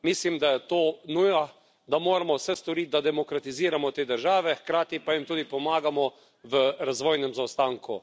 Mislim, da je to nuja, da moramo vse storiti, da demokratiziramo te države, hkrati pa jim tudi pomagamo v razvojnem zaostanku.